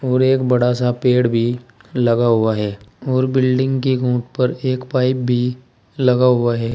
और एक बड़ा सा पेड़ भी लगा हुआ है और बिल्डिंग के ऊपर एक पाइप भी लगा हुआ है।